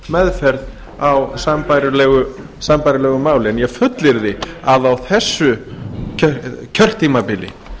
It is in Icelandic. meðferð á sambærilegu máli en ég fullyrði að á þessu kjörtímabili